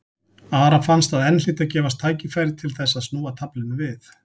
Ara fannst að enn hlyti að gefast tækifæri til þess að snúa taflinu við.